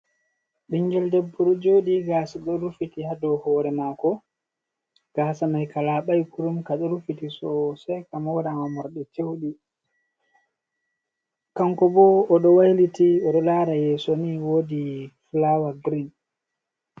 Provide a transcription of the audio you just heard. Ɓingel debbo ɗo jodi gasa ɗo rufiti ha dow hore mako, gasa mai ka labai kurum kaɗo rufiti soseka mora ma morde ceudi, kanko bo o ɗo wailiti odo lara yeso, ni wodi flowar grin.